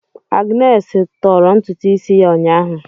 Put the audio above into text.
Agnes tọọrọ ntutu isi ya ụnyaahụ.